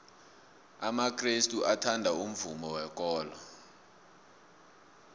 amakrestu athanda umvumo wekolo